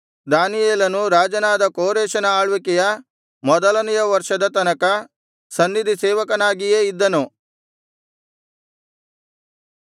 ದಾನಿಯೇಲನು ರಾಜನಾದ ಕೋರೆಷನ ಆಳ್ವಿಕೆಯ ಮೊದಲನೆಯ ವರ್ಷದ ತನಕ ಸನ್ನಿಧಿ ಸೇವಕನಾಗಿಯೇ ಇದ್ದನು